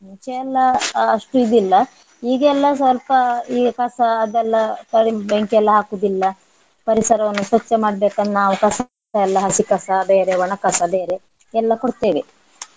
ಮುಂಚೆ ಎಲ್ಲ ಆ ಅಷ್ಟು ಇದಿಲ್ಲ ಈಗ ಎಲ್ಲ ಸ್ವಲ್ಪ ಈಗ ಕಸ ಅದೆಲ್ಲ ಬೆಂಕಿ ಎಲ್ಲ ಹಾಕುವುದಿಲ್ಲ ಪರಿಸರವನ್ನು ಸ್ವಚ್ಛ ಮಾಡ್ಬೇಕನ್~ ನಾವು ಕಸವೆಲ್ಲ ಹಸಿಕಸ ಬೇರೆ ಒಣಕಸ ಬೇರೆ ಎಲ್ಲಾ ಕೊಡ್ತೇವೆ.